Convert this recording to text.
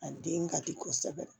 A den ka di kosɛbɛ